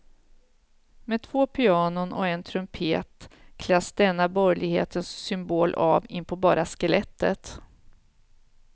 Med två pianon och en trumpet kläs denna borgerlighetens symbol av inpå bara skelettet.